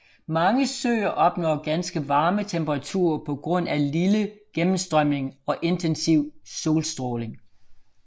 Mange søer opnår ganske varme temperaturer på grund af lille gennemstrømning og intensiv solstråling